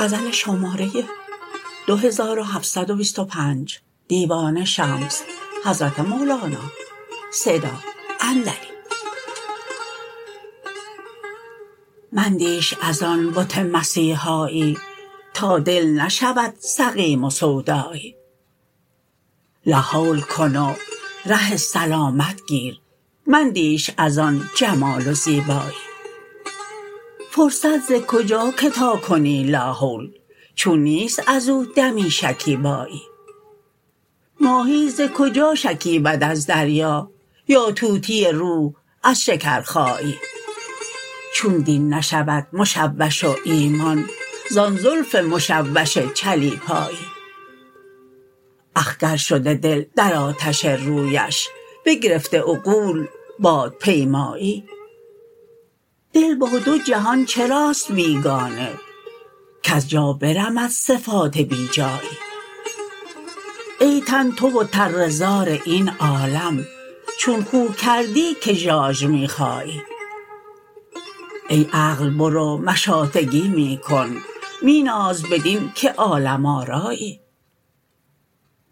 مندیش از آن بت مسیحایی تا دل نشود سقیم و سودایی لاحول کن و ره سلامت گیر مندیش از آن جمال و زیبایی فرصت ز کجا که تا کنی لاحول چون نیست از او دمی شکیبایی ماهی ز کجا شکیبد از دریا یا طوطی روح از شکرخایی چون دین نشود مشوش و ایمان زان زلف مشوش چلیپایی اخگر شده دل در آتش رویش بگرفته عقول بادپیمایی دل با دو جهان چراست بیگانه کز جا برمد صفات بی جایی ای تن تو و تره زار این عالم چون خو کردی که ژاژ می خایی ای عقل برو مشاطگی می کن می ناز بدین که عالم آرایی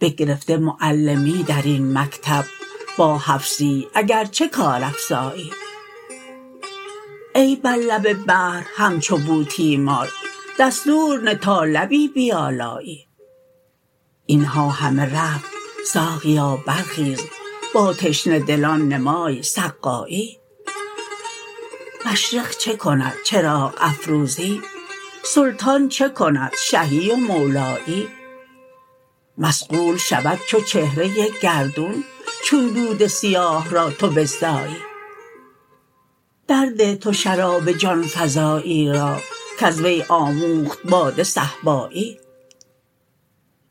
بگرفته معلمی در این مکتب با حفصی اگر چه کارافزایی ای بر لب بحر همچو بوتیمار دستور نه تا لبی بیالایی این ها همه رفت ساقیا برخیز با تشنه دلان نمای سقایی مشرق چه کند چراغ افروزی سلطان چه کند شهی و مولایی مصقول شود چو چهره گردون چون دود سیاه را تو بزدایی درده تو شراب جان فزایی را کز وی آموخت باده صهبایی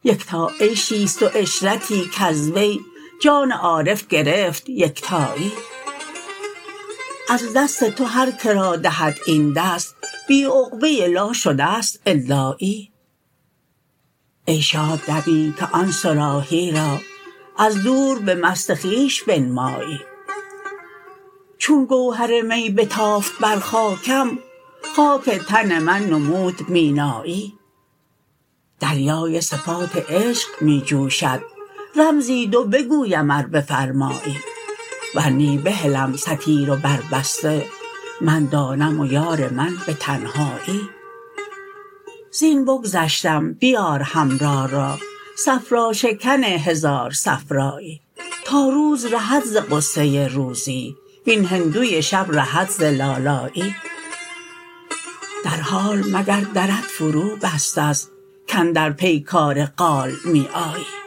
یکتا عیشی است و عشرتی کز وی جان عارف گرفت یکتایی از دست تو هر که را دهد این دست بی عقبه لا شده است الایی ای شاد دمی که آن صراحی را از دور به مست خویش بنمایی چون گوهر می بتافت بر خاکم خاک تن من نمود مینایی دریای صفات عشق می جوشد رمزی دو بگویم ار بفرمایی ور نی بهلم ستیر و بربسته من دانم و یار من به تنهایی زین بگذشتم بیار حمرا را صفراشکن هزار صفرایی تا روز رهد ز غصه روزی وین هندوی شب رهد ز لالایی در حال مگر درت فروبسته ست کاندر پیکار قال می آیی